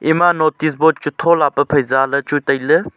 ema notice board chu thola pe phai zaley chu tailey.